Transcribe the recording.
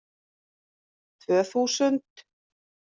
Tvö þúsund